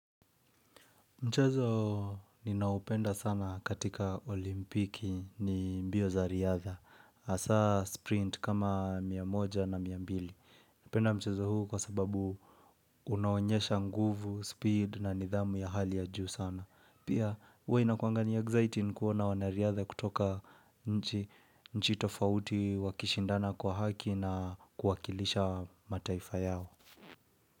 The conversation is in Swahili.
Mchezo ninaoupenda sana katika olimpiki ni mbio za riadha. Hasa sprint kama mia moja na mia mbili. Napenda mchezo huu kwa sababu unaonyesha nguvu, speed na nidhamu ya hali ya juu sana. Pia huwa inakuanga ni exciting kuona wanariadha kutoka nchi tofauti wakishindana kwa haki na kuwakilisha mataifa yao.